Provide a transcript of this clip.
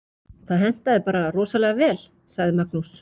Það hentaði bara rosalega vel, sagði Magnús.